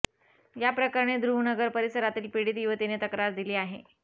या प्रकरणी ध्रुवनगर परिसरातील पीडित युवतीने तक्रार दिली आहे